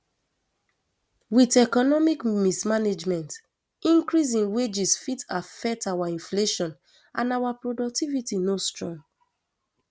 wit economic mismanagement increase in wages fit affect our inflation and our productivity no strong